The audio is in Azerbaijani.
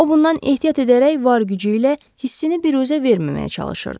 O bundan ehtiyat edərək var gücü ilə hissini büruzə verməməyə çalışırdı.